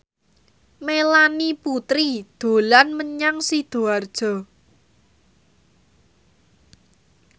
Melanie Putri dolan menyang Sidoarjo